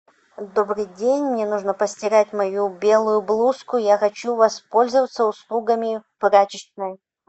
добрый день мне нужно постирать мою белую блузку я хочу воспользоваться услугами прачечной